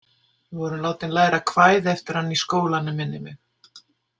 Við vorum látin læra kvæði eftir hann í skólanum, minnir mig.